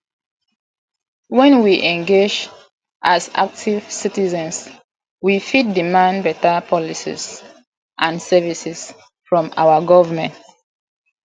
when we engage as active citizens we fit demand beta policies and services from our government